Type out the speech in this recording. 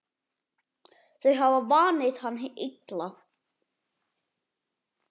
Þau hafa vanið hann illa.